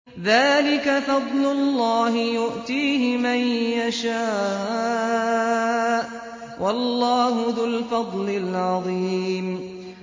ذَٰلِكَ فَضْلُ اللَّهِ يُؤْتِيهِ مَن يَشَاءُ ۚ وَاللَّهُ ذُو الْفَضْلِ الْعَظِيمِ